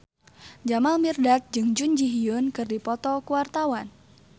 Jamal Mirdad jeung Jun Ji Hyun keur dipoto ku wartawan